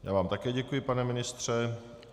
Já vám také děkuji, pane ministře.